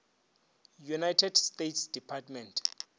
united states department